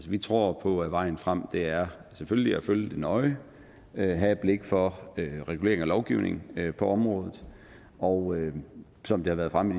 vi tror på at vejen frem selvfølgelig er at følge det nøje at have et blik for regulering af lovgivningen på området og som det har været fremme